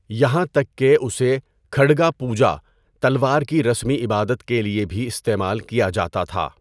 یہاں تک کہ اسے کھڈگا پوجا، تلوار کی رسمی عبادت کے لیے بھی استعمال کیا جاتا تھا۔